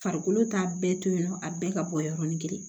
Farikolo t'a bɛɛ to yen nɔ a bɛɛ ka bɔ yɔrɔnin kelen